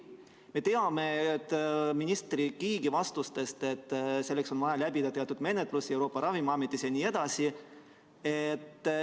Me teame minister Kiige vastustest, et selleks on vaja läbida teatud menetlus Euroopa Ravimiametis.